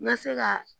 N ka se ka